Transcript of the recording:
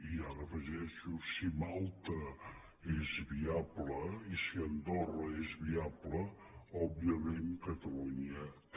i ara hi afegeixo si malta és viable i si andorra és viable òbviament catalunya també